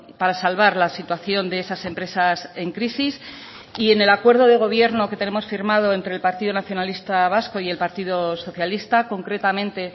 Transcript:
para salvar la situación de esas empresas en crisis y en el acuerdo de gobierno que tenemos firmado entre el partido nacionalista vasco y el partido socialista concretamente